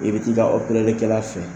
I bɛ t'i ka a kɛla fɛ